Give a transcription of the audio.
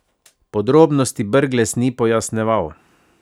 Podrobnosti Brglez ni pojasnjeval.